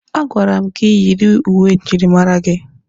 A gwara m gị yiri uwe njirimara gị!